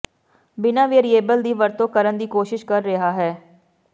ਬਿਨਾਂ ਵੇਅਰਿਏਬਲ ਦੀ ਵਰਤੋਂ ਕਰਨ ਦੀ ਕੋਸ਼ਿਸ਼ ਕਰ ਰਿਹਾ ਹੈ